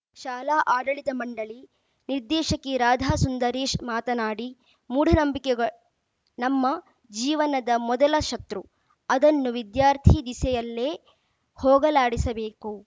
ಶಾಲಾ ಆಡಳಿತ ಮಂಡಳಿ ನಿರ್ದೇಶಕಿ ರಾಧಾ ಸುಂದರೇಶ್‌ ಮಾತನಾಡಿ ಮೂಢನಂಬಿಕೆ ಗ ನಮ್ಮ ಜೀವನದ ಮೊದಲ ಶತೃ ಅದನ್ನು ವಿದ್ಯಾರ್ಥಿ ದಿಸೆಯಲ್ಲೇ ಹೋಗಲಾಡಿಸಬೇಕು